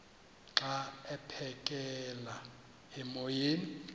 xa aphekela emoyeni